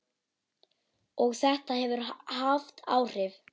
Og þetta hefur haft áhrif.